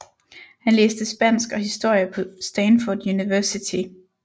Han læste Spansk og Historie på Stanford University